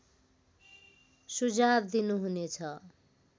सुझाव दिनुहुने छ